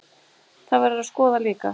Það verður að skoða líka.